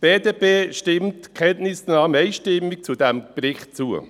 Die BDP stimmt der Kenntnisnahme zu diesem Bericht einstimmig zu.